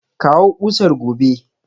Kawo kusar gobe!